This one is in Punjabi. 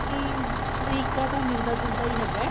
ਕੀ ਤਰੀਕਾ ਤਾਂ ਮਿਲਦਾ ਜੁਲਦਾ ਹੀ ਹੈਗਾ